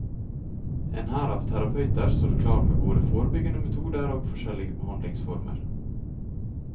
En hær av terapeuter står klar med både forebyggende metoder og forskjellige behandlingsformer.